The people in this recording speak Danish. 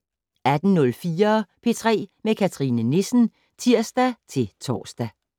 18:04: P3 med Cathrine Nissen (tir-tor)